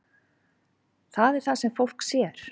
Það er það sem fólk sér.